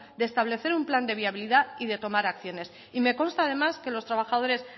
de establecer un plan de viabilidad y de tomar acciones y me consta además que los trabajadores